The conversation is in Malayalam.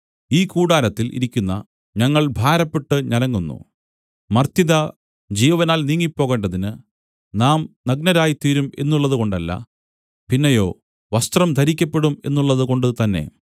ഈ കൂടാരത്തിൽ ഇരിക്കുന്ന ഞങ്ങൾ ഭാരപ്പെട്ട് ഞരങ്ങുന്നു മർത്യത ജീവനാൽ നീങ്ങിപ്പോകേണ്ടതിന് നാം നഗ്നരായിത്തീരും എന്നുള്ളതുകൊണ്ടല്ല പിന്നെയോ വസ്ത്രം ധരിക്കപ്പെടും എന്നുള്ളതുകൊണ്ട് തന്നെ